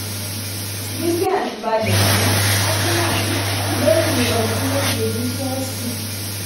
willian balẹ sí arsenal lẹyìn ọdún méje ní chelsea